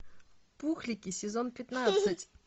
пухлики сезон пятнадцать